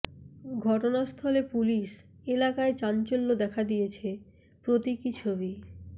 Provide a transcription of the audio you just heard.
ঘটনাস্থলে পুলিশ এলাকায় চাঞ্চল্য দেখা দিয়েছে প্রতীকী ছবি